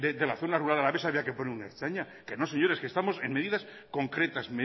de la zona rural alavesa había que poner un ertzaina que no señores que estamos en medidas concretas